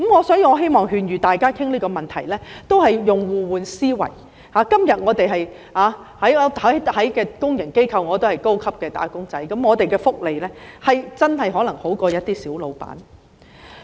所以，我希望大家在討論這個問題時，也要互換思維，今天我們在公營機構也是高級"打工仔"，福利可能真的比一些小僱主為佳。